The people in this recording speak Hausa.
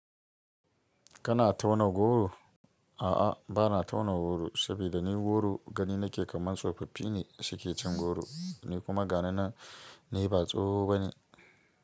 Kana tauna goro? A'a, bana tauna goro saboda ni goro gani nake kaman tsofaffi ne suke cin goro ni kuma ga ni nan ni ba tsoho bane.